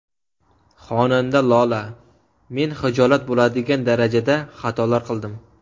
Xonanda Lola: Men hijolat bo‘ladigan darajada xatolar qildim.